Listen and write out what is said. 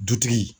Dutigi